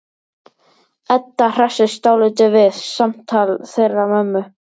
Edda hressist dálítið við samtal þeirra mömmu.